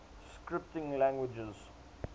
scripting languages